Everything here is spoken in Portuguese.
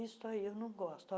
Isso aí eu não gosto.